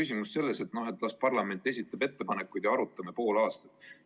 Ei saa läheneda nii, et las parlament esitab ettepanekud ja arutame pool aastat.